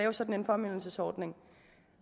en sådan påmindelsesordning